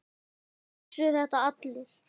Samt vissu þetta allir.